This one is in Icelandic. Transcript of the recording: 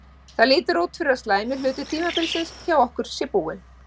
Það lítur út fyrir að slæmi hluti tímabilsins hjá okkur sé búinn.